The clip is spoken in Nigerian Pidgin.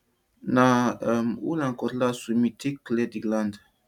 na um hoe and cutlass we bin take clear di land